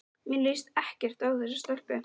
Mér líst ekkert á þessa stelpu.